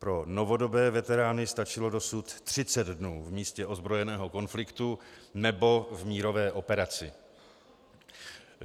Pro novodobé veterány stačilo dosud 30 dnů v místě ozbrojeného konfliktu nebo v mírové operaci.